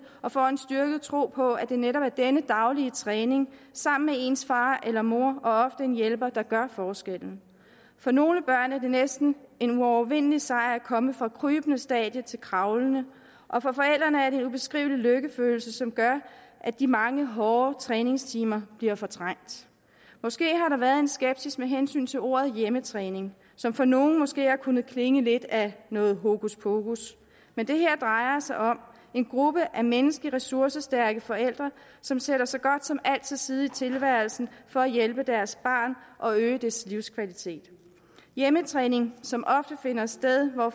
og får en styrket tro på at det netop er denne daglige træning sammen med ens far eller mor og ofte en hjælper der gør forskellen for nogle børn er det næsten en uovervindelig sejr at komme fra krybende stadium til kravlende og for forældrene er det en ubeskrivelig lykkefølelse som gør at de mange hårde træningstimer bliver fortrængt måske har der været en skepsis med hensyn til ordet hjemmetræning som for nogle måske har kunnet klinge lidt af noget hokuspokus men det her drejer sig om en gruppe af menneskeligt ressourcestærke forældre som sætter så godt som alt til side i tilværelsen for at hjælpe deres barn og øge dets livskvalitet hjemmetræning som ofte finder sted hvor